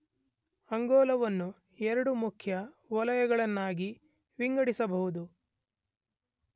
ಅಂಗೋಲವನ್ನು ಎರಡು ಮುಖ್ಯ ವಲಯಗಳನ್ನಾಗಿ ವಿಂಗಡಿಸಬಹುದು